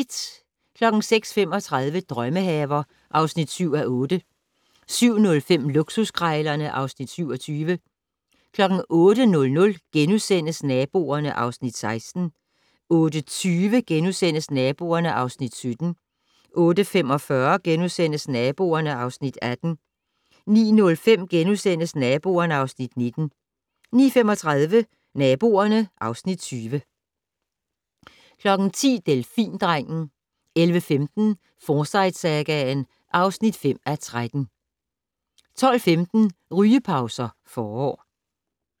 06:35: Drømmehaver (7:8) 07:05: Luksuskrejlerne (Afs. 27) 08:00: Naboerne (Afs. 16)* 08:20: Naboerne (Afs. 17)* 08:45: Naboerne (Afs. 18)* 09:05: Naboerne (Afs. 19)* 09:35: Naboerne (Afs. 20) 10:00: Delfindrengen 11:15: Forsyte-sagaen (5:13) 12:15: Rygepauser - Forår